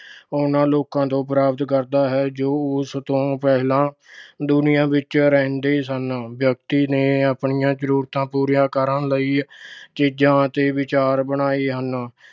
ਉਹਨਾਂ ਲੋਕਾਂ ਤੋਂ ਪ੍ਰਾਪਤ ਕਰਦਾ ਹੈ ਜੋ ਉਸ ਤੋਂ ਪਹਿਲਾ ਦੁਨੀਆ ਵਿੱਚ ਰਹਿੰਦੇ ਸਨ। ਵਿਅਕਤੀ ਨੇ ਆਪਣੀਆਂ ਜ਼ਰੂਰਤਾਂ ਪੂਰੀਆਂ ਕਰਨ ਲਈ ਚੀਜ਼ਾਂ ਅਤੇ ਵਿਚਾਰ ਬਣਾਏ ਹਨ।